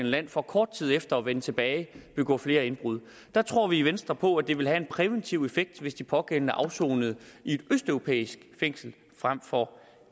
land for kort tid efter at vende tilbage og begå flere indbrud der tror vi i venstre på at det ville have en præventiv effekt hvis de pågældende afsonede i et østeuropæisk fængsel frem for